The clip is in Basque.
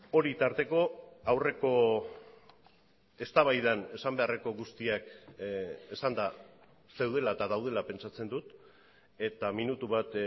hori tarteko aurreko eztabaidan esan beharreko guztiak esanda zeudela eta daudela pentsatzen dut eta minutu bat